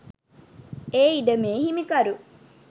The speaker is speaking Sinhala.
ඒ ඉඩමේ හිමිකරු